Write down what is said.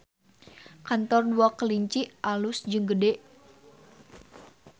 Kantor Dua Kelinci alus jeung gede